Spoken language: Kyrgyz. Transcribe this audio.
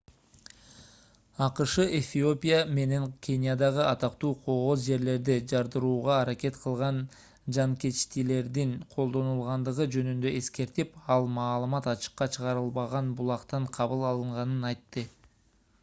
акш эфиопия менен кениядагы атактуу кооз жерлерди жардырууга аракет кылган жанкечтилердин колдонулгандыгы жөнүндө эскертип ал маалымат ачыкка чыгарылбаган булактан кабыл алынганын айтты